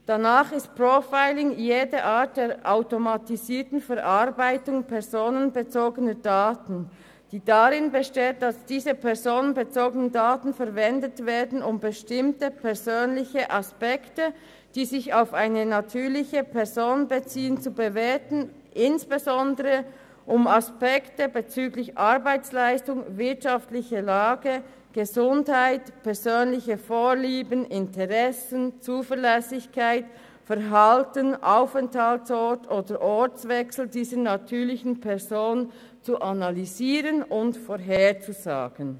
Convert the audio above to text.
Danach ist Profiling jede Art der automatisierten Verarbeitung personenbezogener Daten, die darin besteht, dass diese personenbezogenen Daten verwendet werden, um bestimmte persönliche Aspekte, die sich auf eine natürliche Person beziehen, zu bewerten, insbesondere, um Aspekte bezüglich Arbeitsleistung, wirtschaftliche Lage, Gesundheit, persönliche Vorlieben, Interessen, Zuverlässigkeit, Verhalten, Aufenthaltsort oder Ortswechsel dieser natürlichen Person zu analysieren und vorherzusagen.